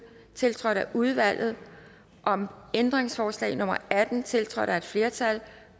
tiltrådt af udvalget om ændringsforslag nummer atten tiltrådt af et flertal